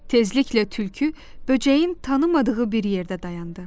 Tezliklə tülkü böcəyin tanımadığı bir yerdə dayandı.